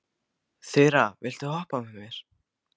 Þura, viltu hoppa með mér?